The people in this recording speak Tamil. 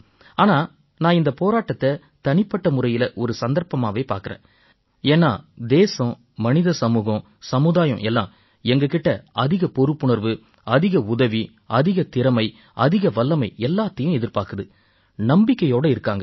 ஆனா நான் இந்தப் போராட்டத்தைத் தனிப்பட்ட முறையில ஒரு சந்தர்ப்பமாவே பார்க்கறேன் ஏன்னா தேசம் மனித சமூகம் சமுதாயம் எல்லாம் எங்க கிட்ட அதிக பொறுப்புணர்வு அதிக உதவி அதிக திறமை அதிக வல்லமை எல்லாத்தையும் எதிர்பார்க்குது நம்பிக்கையோட இருக்காங்க